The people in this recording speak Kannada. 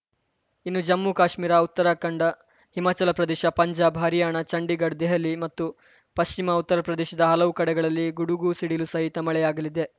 ಇನ್ನು ಜಮ್ಮುಕಾಶ್ಮೀರ ಉತ್ತರಾಖಂಡ ಹಿಮಾಚಲ ಪ್ರದೇಶ ಪಂಜಾಬ್‌ ಹರ್ಯಾಣ ಚಂಡೀಗಡ್ ದೆಹಲಿ ಮತ್ತು ಪಶ್ಚಿಮ ಉತ್ತರ ಪ್ರದೇಶದ ಹಲವು ಕಡೆಗಳಲ್ಲಿ ಗುಡುಗು ಸಿಡಿಲು ಸಹಿತ ಮಳೆಯಾಗಲಿದೆ